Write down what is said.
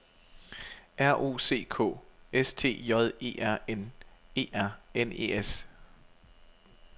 R O C K S T J E R N E R N E S